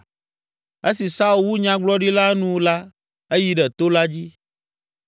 Esi Saul wu nyagblɔɖi la nu la, eyi ɖe to la dzi.